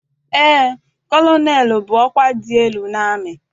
Eé, kọlọnelụ bụ ọkwa dị elu n'amị.